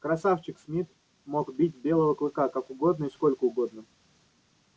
красавчик смит мог бить белого клыка как угодно и сколько угодно